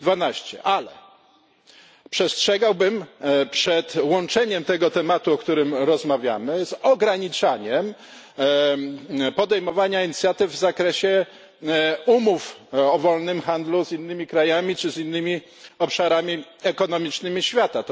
12. Ale przestrzegałbym przed łączeniem tego tematu, o którym rozmawiamy z ograniczaniem podejmowania inicjatyw w zakresie umów o wolnym handlu z innymi krajami czy z innymi obszarami ekonomicznymi świata.